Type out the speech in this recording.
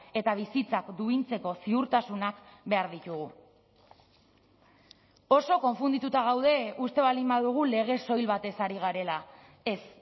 eta bizitzak duintzeko ziurtasunak behar ditugu oso konfundituta gaude uste baldin badugu legez soil batez ari garela ez